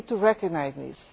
we need to recognise this.